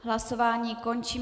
Hlasování končím.